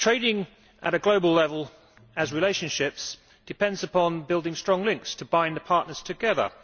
Trading at a global level as relationships depends on building strong links to bind the partners together.